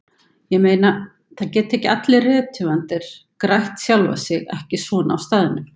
Ég meina, það geta ekki allir rithöfundar grætt sjálfa sig, ekki svona á staðnum.